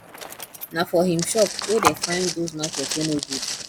na for him shop wey dey find those market wey no good